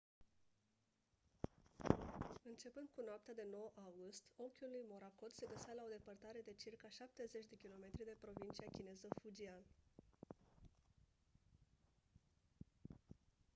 începând cu noaptea de 9 august ochiul lui morakot se găsea la o depărtare de circa șaptezeci de kilometri de provincia chineză fujian